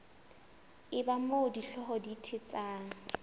eba moo dihlooho di thetsang